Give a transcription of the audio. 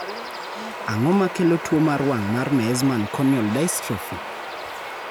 Ang�o ma kelo tuo mar wang� mar Meesman corneal dystrophy?